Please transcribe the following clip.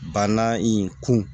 Banna in kun